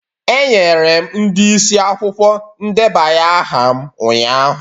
Enyere m ndị isi akwụkwọ ndebanye aha m ụnyahụ.